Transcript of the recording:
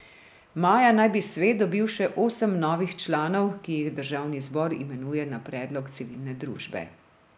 Maja naj bi svet dobil še osem novih članov, ki jih državni zbor imenuje na predlog civilne družbe.